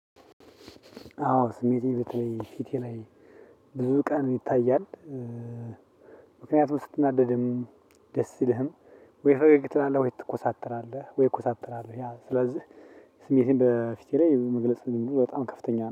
አዎ ስሜቴ በተለይ ፊቴ ላይ ብዙ ቀን ይታያል። ምክንያቱም ስትናደድም ደስ ሲልም ወይ ፈገግ ትላለህ ወይ ትኮሳተራለህ። ወይ እኮሳተራለው ስለዚህ ስሜቴን በፊቴ ላይ መግለጽ እንደው በጣም ከፍተኛ